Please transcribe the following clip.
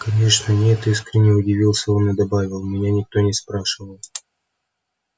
конечно нет искренне удивился он и добавил меня никто не спрашивал